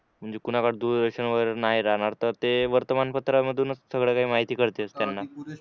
म्हणजे कोणाला दूरदर्शन कुणाकडे दूरदर्शन वगैरे नाही राहणार तर ते वर्तमानपत्रा मधूनच सगळं माहिती कळते त्यांना